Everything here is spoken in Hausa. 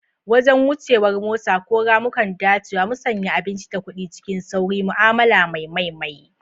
Wajen wuce war mota, ko ramukan dacewa, musanya abinci da kuɗi cikin sauri, ma'amala mai mai mai.